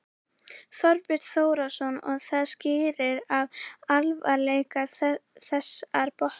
Þorbjörn Þórðarson: Og það skýrist af alvarleika þessara brota?